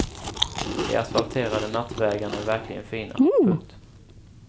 De asfalterade nattvägarna är verkligen fina. punkt